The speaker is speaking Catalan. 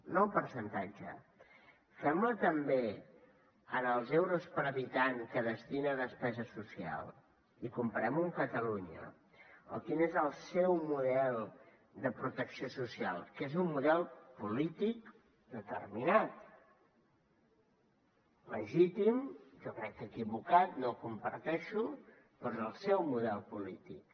no en percentatge fem la també en els euros per habitant que destina a despesa social i comparem ho amb catalunya o quin és el seu model de protecció social que és un model polític determinat legítim jo crec que equivocat no el comparteixo però és el seu model polític